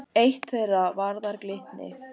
Eitt þeirra varðar Glitni.